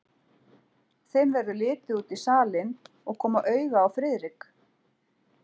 Þeim verður litið út í salinn og koma auga á Friðrik.